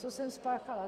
Co jsem spáchala?